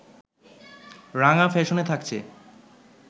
রাঙা ফ্যাশনে থাকছে